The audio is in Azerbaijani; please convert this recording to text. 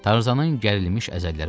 Tarzanın gərilmiş əzələləri boşaldı.